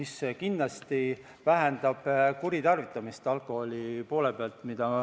See kindlasti vähendab alkoholi kuritarvitamist.